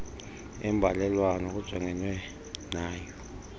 imbalelwano kujongenwe nayo